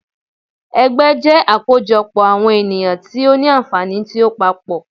Ẹgbẹ́ jẹ́ àkójọ pọ̀ àwọn ènìyàn tí ó ní ànfàní tí ó papọ̀.